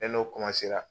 Ne n'o